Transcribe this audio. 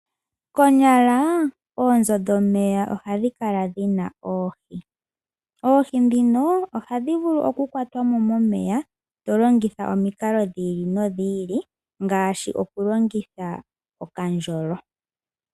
Konyala oonzo dhomeya ohadhi kala dhi na oohi. Oohi ndhino ohadhi vulu okukwatwa mo momeya, to longitha omikalo dhi ili nodhi ili ngaashi okulongitha okandjolo.